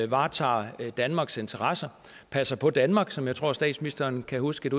varetager danmarks interesser passer på danmark sådan tror jeg statsministeren kan huske